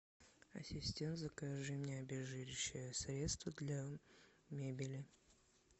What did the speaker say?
ассистент закажи мне обезжиривающее средство для мебели